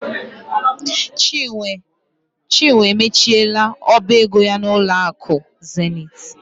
Chinwe emechiela ọba ego ya n'ụlọ akụ Zenith.